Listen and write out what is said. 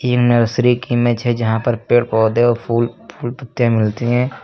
ये नर्सरी की इमेज है जहां पर पेड़ पौधे और फूल फूल पत्ते मिलते हैं।